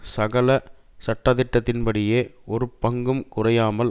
சகல சட்டதிட்டத்தின் படியே ஒரு பங்கும் குறையாமல்